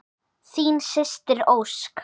Þín systir, Ósk.